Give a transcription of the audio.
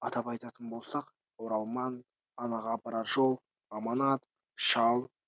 атап айтатын болсақ оралман анаға апарар жол аманат шал